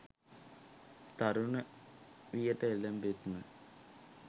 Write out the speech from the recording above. තරුණ වියට එළඹෙත්ම